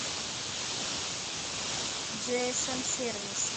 джиэсэм сервис